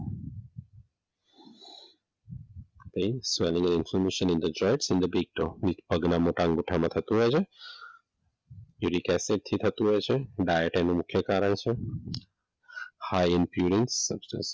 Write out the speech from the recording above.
in swollen in the big toe પગના મોટા અંગુઠામાં થતું હોય છે યુરિક એસિડ થી થતો હોય છે ડાયટ એનો મુખ્ય કારણ છે હાઈ ઇપ્મ્પુરિંસ.